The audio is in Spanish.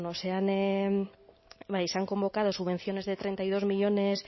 se han convocado subvenciones de treinta y dos millónes